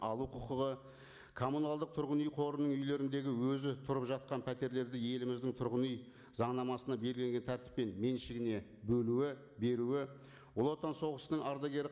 алу құқығы коммуналдық тұрғын үй қорының үйлеріндегі өзі тұрып жатқан пәтерлерді еліміздің тұрғын үй заңнамасына белгілеген тәртіппен меншігіне бөлуі беруі ұлы отан соғысының ардагері